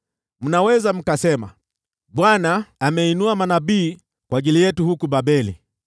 Mnaweza mkasema, “ Bwana ameinua manabii kwa ajili yetu huku Babeli,”